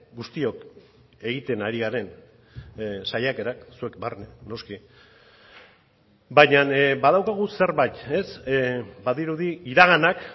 guztiok egiten ari garen saiakerak zuek barne noski baina badaukagu zerbait badirudi iraganak